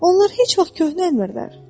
Onlar heç vaxt köhnəlmirlər.